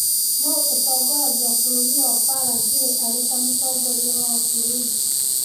Nũũ ũtongoragia bũrũri wa Paraguay arĩ ta Mũtongoria wa bũrũri?